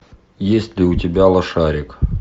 есть ли у тебя лошарик